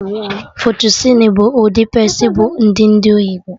Fettucini bụ ụdị pasta bụ ndị ndị oyibo